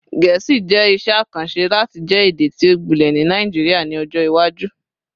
Gẹẹsi jẹ iṣẹ akanṣe lati jẹ ede ti o gbilẹ ni Naijiria ni ọjọ iwaju